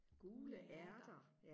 gule ærter